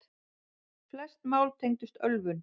Flest mál tengdust ölvun.